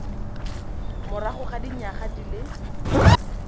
morago ga dinyaga di le